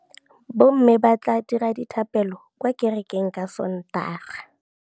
Bommê ba tla dira dithapêlô kwa kerekeng ka Sontaga.